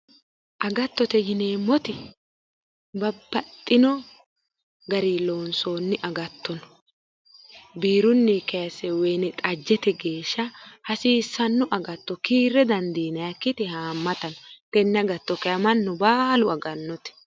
Agattote yineemmoti babbaxxino garii loonsoonni agatto no biirunni kayisse woyinixajjete geesha hasiissanno agatto kiirre dandiinayikkiti haammata no tenne agatto kayinni mannu baalu agannote